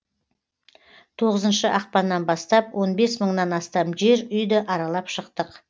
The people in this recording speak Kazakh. тоғызыншы ақпаннан бастап он бес мыңнан астам жер үйді аралап шықтық